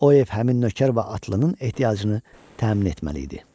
O ev həmin nökər və atlının ehtiyacını təmin etməli idi.